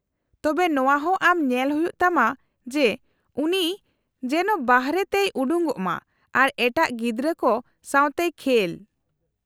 -ᱛᱚᱵᱮ ᱱᱚᱶᱟ ᱦᱚᱸ ᱟᱢ ᱧᱮᱞ ᱦᱩᱭᱩᱜ ᱛᱟᱢᱟ ᱡᱮ ᱩᱱᱤ ᱡᱮᱱᱚ ᱵᱟᱨᱦᱮᱛᱮᱭ ᱩᱰᱩᱠᱚᱜᱼᱢᱟ ᱟᱨ ᱮᱴᱟᱜ ᱜᱤᱫᱽᱨᱟᱹ ᱠᱚ ᱥᱟᱶᱛᱮᱭ ᱠᱷᱮᱞ ᱾